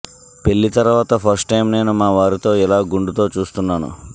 పెళ్లి తర్వాత first time నేను మా వారితో ఇలా గుండుతో చూస్తున్నాను